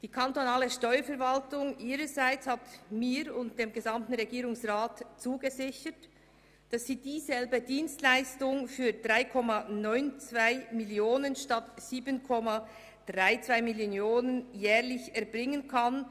Die kantonale Steuerverwaltung hat mir und dem gesamten Regierungsrat zugesichert, dass sie dieselbe Dienstleistung für 3,92 Mio. Franken statt für 7,32 Mio. Franken jährlich erbringen kann.